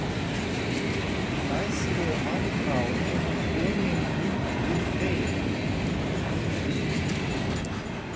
Í næstu andrá er hann kominn út til þeirra.